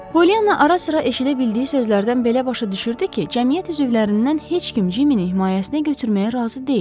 Polyana ara-sıra eşidə bildiyi sözlərdən belə başa düşürdü ki, cəmiyyət üzvlərindən heç kim Cimmy-ni himayəsinə götürməyə razı deyil.